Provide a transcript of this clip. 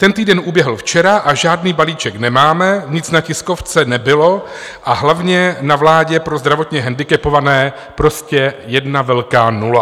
Ten týden uběhl včera a žádný balíček nemáme, nic na tiskovce nebylo, a hlavně na vládě pro zdravotně handicapované prostě jedna velká nula.